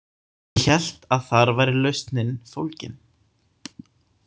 Ég hélt að þar væri lausnin fólgin.